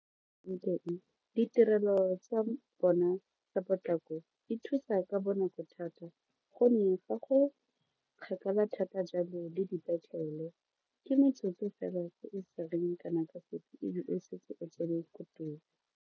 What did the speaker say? Ditirelo tsa bona tsa potlako di thusa ka bonako thata gonne fa go kgakala thata jalo le dipetlele ke metsotso fela ke e e sa reng kana ka sepe e be o setse o tsena ko teng.